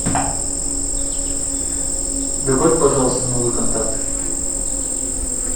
добавь пожалуйста новый контакт